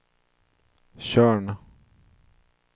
Tjörn